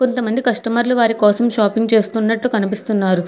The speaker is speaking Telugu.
కొంతమంది కస్టమర్లు వారి కోసం షాపింగ్ చేస్తున్నట్టు కనిపిస్తున్నారు.